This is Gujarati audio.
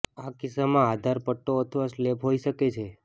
આ કિસ્સામાં આધાર પટ્ટો અથવા સ્લેબ હોઈ શકે છે